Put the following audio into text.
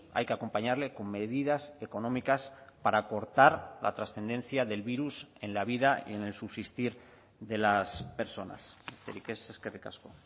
hay que acompañarle con medidas económicas para cortar la trascendencia del virus en la vida y en el subsistir de las personas besterik ez eskerrik asko